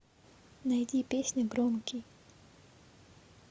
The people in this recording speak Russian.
найди песня громкий